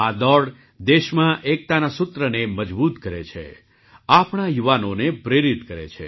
આ દોડ દેશમાં એકતાના સૂત્રને મજબૂત કરે છે આપણા યુવાનોને પ્રેરિત કરે છે